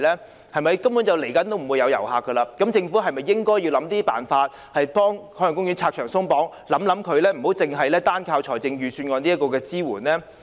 事實上，未來一段時間也不會有遊客的，政府是否應該設法為海洋公園拆牆鬆綁，而不是單單靠預算案的支援呢？